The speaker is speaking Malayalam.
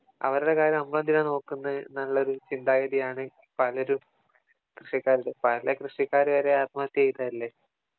അവരുടെ കാര്യം നമ്മളെന്തിന് നോക്കുന്നു എന്നുള്ളോരു ചിന്താഗതിയാണ് പലരും കൃഷിക്കാരോട്. പല കൃഷിക്കാരു വരെ ആത്മഹത്യ ചെയ്തതല്ലേ